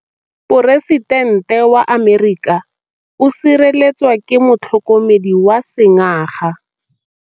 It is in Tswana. Poresitêntê wa Amerika o sireletswa ke motlhokomedi wa sengaga.